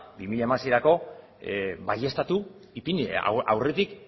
bi mila hamaseirako baieztatu ipini aurretik